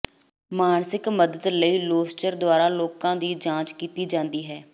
ਮਾਨਸਿਕ ਮਦਦ ਲਈ ਲੋਸਚਰ ਦੁਆਰਾ ਲੋਕਾਂ ਦੀ ਜਾਂਚ ਕੀਤੀ ਜਾਂਦੀ ਹੈ